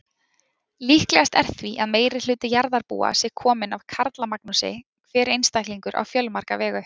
Líklegast er því að meirihluti jarðarbúa sé kominn af Karlamagnúsi, hver einstaklingur á fjölmarga vegu.